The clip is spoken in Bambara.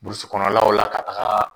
Burusi kɔnɔlaw la ka taga